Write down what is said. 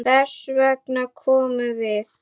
Þess vegna komum við.